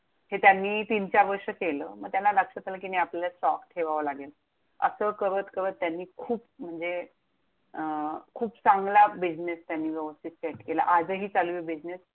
हे त्यांनी तीन चार वर्ष केलं. मग त्यांना लक्षात आलं कि, नाही आपल्याला stock ठेवावा लागेल. असं करत करत त्यांनी खूप म्हणजे, अं खूप चांगला business त्यांनी व्यवस्थित set केला, आजही चालूए business